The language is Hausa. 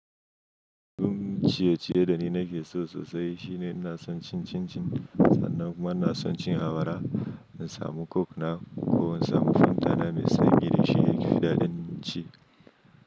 Duk ciye-ciye da ni nake so sosai shine ina son cin cin-cin sannan kuma ina son cin awara, in samu coke na ko in samu fanta na mai sanyi ne shine yafi dadin ci.